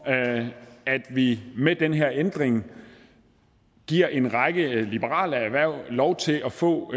at vi med den her ændring giver en række liberale erhverv lov til at få